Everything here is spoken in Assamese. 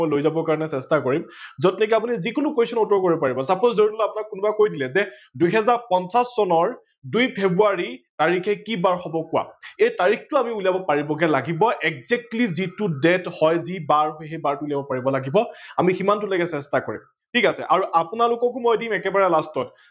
এই তাৰিখটো আমি উলিয়াব পাৰিবগে লাগিব exactly যি date হয় যি বাৰ হয় সেই বাৰটো উলিয়াব পাৰিব লাগিব সিমানটো লেকে চেষ্টা কৰিম। ঠিক আছে আৰু আপোনালোককো মই এদিন একেবাৰে last ত